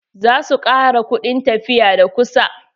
Za su ƙara kuɗin tafiya da kusa.